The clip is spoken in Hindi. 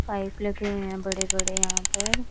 पाइप लगे हैं बड़े बड़े यहां पर।